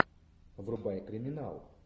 врубай криминал